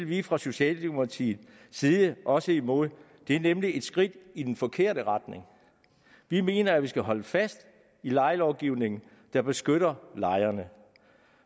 vi fra socialdemokratiets side også imod det er nemlig et skridt i den forkerte retning vi mener at vi skal holde fast i lejelovgivningen der beskytter lejerne